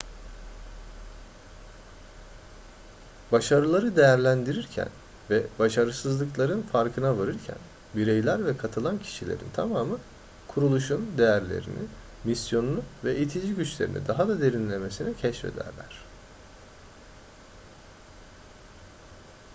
başarıları değerlendirirken ve başarısızlıkların farkına varırken bireyler ve katılan kişilerin tamamı kuruluşun değerlerini misyonunu ve itici güçlerini daha da derinlemesine keşfederler